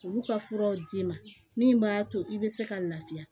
Olu ka furaw d'i ma min b'a to i bɛ se ka lafiya